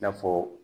I n'a fɔ